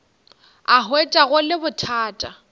a hwetša go le bothata